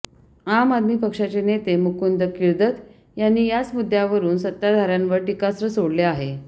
आम आदमी पक्षाचे नेते मुकुंद किर्दत यांनी याच मुद्द्यावरून सत्ताधाऱ्यांवर टीकास्त्र सोडले आहे